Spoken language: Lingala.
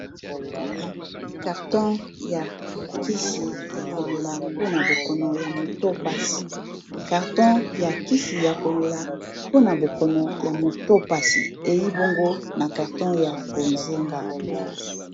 Carton ya kisi ya komela mpona bokono ya moto pasi ei bongo na carton ya bozenga.